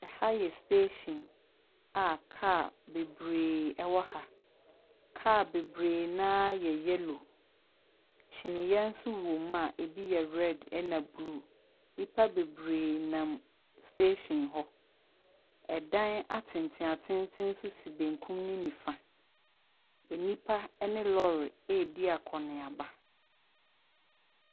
Aha yɛ station a kaa bebree wɔ ha. Kaa bebree no ara yɛ yellow. Kyinniiɛ nso wɔ mu a ebi yɛ red ɛna blue. Nnipa bebree nam station hɔ. ℇdan atentenatenten nso si benkum ne nifa. Nnipa ne lorry redi akɔ ne aba.